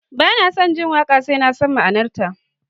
Ba na jin waƙa sai na san ma'anarta